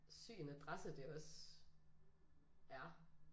Syg en adresse det også er